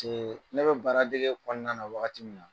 ne be baara dege kɔɔna na wagati min na